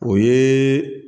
O ye